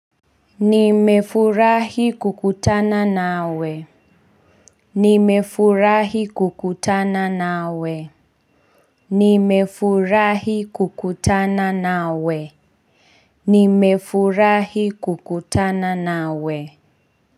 Nimefurahi kukutana nawe. Nimefurahi kukutana na we. Nimefurahi kukutana na we.